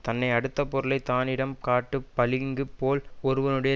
தன்னை அடுத்த பொருளை தானிடம் காட்டு பளிங்கு போல் ஒருவனுடைய